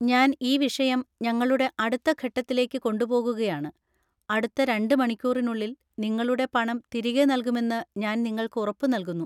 ഞാൻ ഈ വിഷയം ഞങ്ങളുടെ അടുത്ത ഘട്ടത്തിലേക്ക് കൊണ്ടുപോകുകയാണ്, അടുത്ത രണ്ട് മണിക്കൂറിനുള്ളിൽ നിങ്ങളുടെ പണം തിരികെ നൽകുമെന്ന് ഞാൻ നിങ്ങൾക്ക് ഉറപ്പ് നൽകുന്നു.